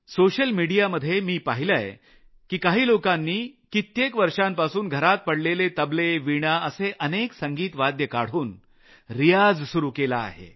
social मिडियामध्ये मी पाहिलं की काही लोकांनी वर्षांपासून घरात पडलेले तबले वीणा अशी अनेक संगीत वाद्ये काढून रियाज सुरू केला आहे